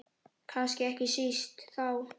Kannski ekki síst þá.